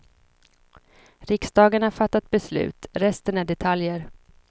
Riksdagen har fattat beslut, resten är detaljer.